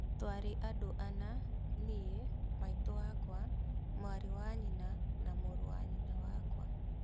Twari andũ ana-nie, maitu wakwa, mwarĩ wanyina na mũũrũ wa nyina wakwa